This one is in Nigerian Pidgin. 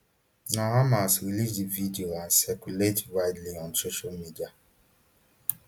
na hamas release di video and circulate widely on social media